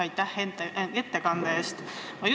Aitäh ettekande eest!